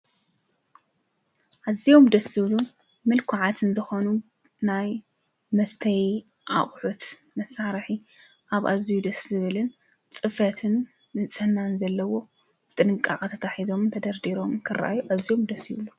ኣዝዮም ደስ ዝብሉ ምልኩዓትን ዝኾኑ ናይ መስተዪ ኣቑሑት መሳርሒ ኣብ ኣዝዩ ደስ ዝብልን ፅፈትን ንፅህናን ዘለዎ ብጥንቃቐ ተታሒዞምን ተደርዲሮምን ክረኣዩ ኣዝዮም ደስ ይብሉ